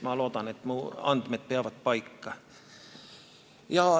Ma loodan, et mu andmed peavad paika.